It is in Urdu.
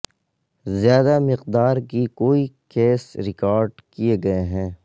زیادہ مقدار کی کوئی کیس ریکارڈ کیے گئے ہیں